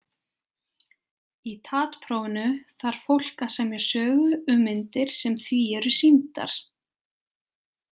Í TAT-prófinu þarf fólk að semja sögu um myndir sem því eru sýndar.